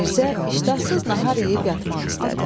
Mirzə iştahsız nahar yeyib yatmaq istədi.